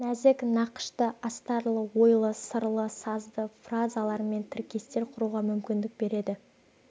нәзік нақышты астарлы ойлы сырлы сазды фразалар мен тіркестер құруға мүмкіндік береді